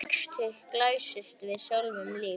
Sextugt glæst við sjáum víf.